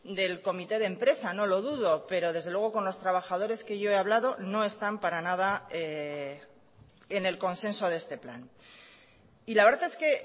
del comité de empresa no lo dudo pero desde luego con los trabajadores que yo he hablado no están para nada en el consenso de este plan y la verdad es que